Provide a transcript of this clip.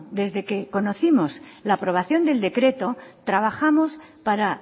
desde que conocimos la aprobación del decreto trabajamos para